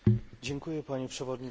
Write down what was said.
Panie Przewodniczący!